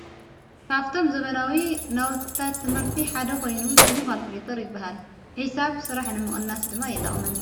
ካብቶም ዘበናዊ ናውታ ትምህርቲ ሓደ ኾይኑ ሹሙ ኻልክሊተር ይበሃል ሕሳብ ሥራሕ ንምቕንናስ ድማ የጠቕመን።